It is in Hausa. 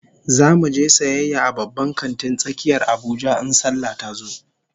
Zamu je sayayya a babban kantin tsakiyar Abuja in sallah tazo